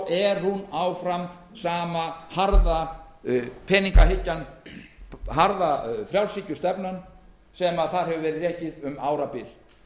er hún áfram sama harða peningahyggjan harða frjálshyggjustefnan sem þar hefur verið rekin um árabil